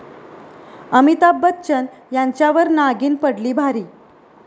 अमिताभ बच्चन यांच्यावर नागिन पडली भारी